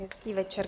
Hezký večer.